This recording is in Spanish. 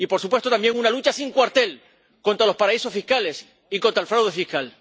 Y, por supuesto, también una lucha sin cuartel contra los paraísos fiscales y contra el fraude fiscal.